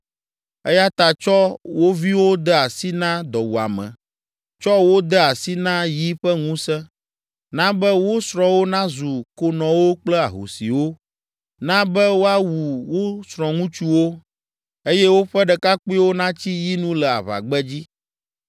Eya ta tsɔ wo viwo de asi na dɔwuame, tsɔ wo de asi na yi ƒe ŋusẽ. Na be wo srɔ̃wo nazu konɔwo kple ahosiwo, na be woawu wo srɔ̃ŋutsuwo, eye woƒe ɖekakpuiwo natsi yi nu le aʋagbedzi.